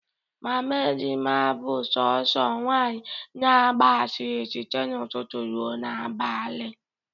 Mama Ejima bụ sọọsọ nwanyị na-agba asịrị site n'ụtụtụ ruo n'abalị